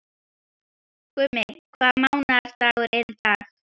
Gummi, hvaða mánaðardagur er í dag?